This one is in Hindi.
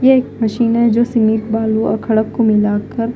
ये एक मशीन है सीमेंट और बालू और खड़क को मिलाकर--